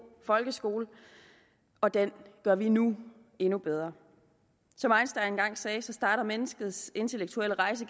folkeskole og den gør vi nu endnu bedre som einstein engang sagde så starter menneskets intellektuelle rejse